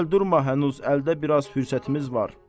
Gəl durma hənuz əldə biraz fürsətimiz var.